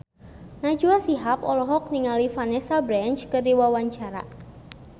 Najwa Shihab olohok ningali Vanessa Branch keur diwawancara